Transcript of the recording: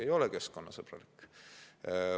Ei ole keskkonnasõbralik!